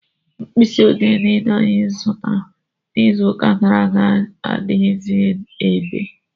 Mkpisi odee niile anyị zụtara n'iziuka gara aga adighizi ebea.